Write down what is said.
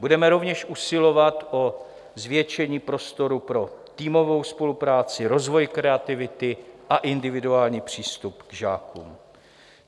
Budeme rovněž usilovat o zvětšení prostoru pro týmovou spolupráci, rozvoj kreativity a individuální přístup k žákům.